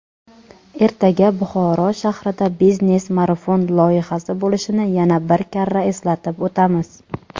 ertaga Buxoro shahrida "Biznes marafon" loyihasi bo‘lishini yana bir karra eslatib o‘tamiz.